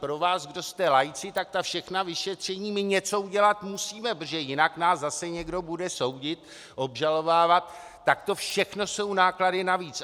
Pro vás, kdo jste laici, tak ta všechna vyšetření, my něco udělat musíme, protože jinak nás zase někdo bude soudit, obžalovávat, tak to všechno jsou náklady navíc.